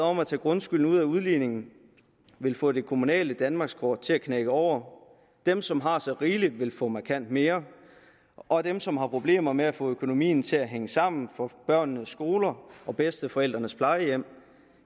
om at tage grundskylden ud af udligningen vil få det kommunale danmarkskort til at knække over dem som har så rigeligt vil få markant mere og dem som har problemer med at få økonomien til at hænge sammen for børnenes skoler og bedsteforældrenes plejehjem